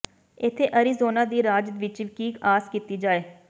ਇੱਥੇ ਅਰੀਜ਼ੋਨਾ ਦੀ ਰਾਜ ਵਿਚ ਕੀ ਆਸ ਕੀਤੀ ਜਾਏ